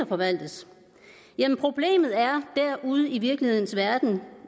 forvaltes jamen problemet ude i virkelighedens verden